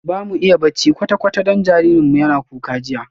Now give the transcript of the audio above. Bamu iya bacci kwata-kwata don jinjirin mu yana kuka jiya